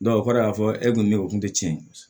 o kɔrɔ y'a fɔ ne kun bɛ u kun tɛ tiɲɛ